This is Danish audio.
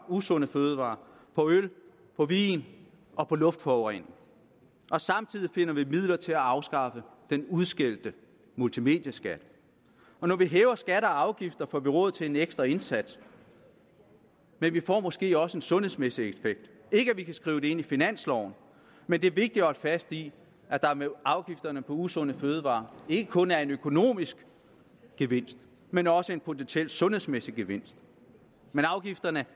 usunde fødevarer på øl på vin og på luftforurening samtidig finder vi midler til at afskaffe den udskældte multimedieskat når vi hæver skatter og afgifter får vi råd til en ekstra indsats men vi får måske også en sundhedsmæssig effekt ikke at vi kan skrive det ind i finansloven men det er vigtigt at holde fast i at der med afgifterne på usunde fødevarer ikke kun er en økonomisk gevinst men også en potentiel sundhedsmæssig gevinst afgifterne